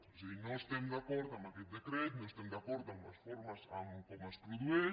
o sigui no estem d’acord amb aquest decret no estem d’acord amb les formes com es produeix